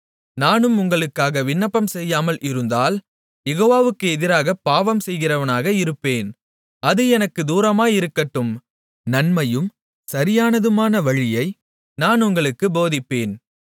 நானும் உங்களுக்காக விண்ணப்பம் செய்யாமல் இருந்தால் யெகோவாவுக்கு எதிராகப் பாவம் செய்கிறவனாக இருப்பேன் அது எனக்குத் தூரமாயிருக்கட்டும் நன்மையும் சரியானதுமான வழியை நான் உங்களுக்குப் போதிப்பேன்